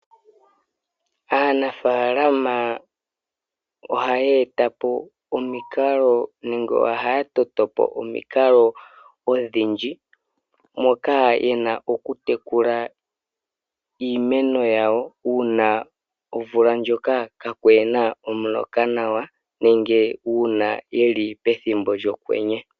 Aanafalama ohaya etapo nengè ohaya totopo omikalo ndhoka yena okulongitha okutekula iimeno yawo uuna omvula ndjoka ka kuna omuloka nawa nenge pethimbo lyokwenye.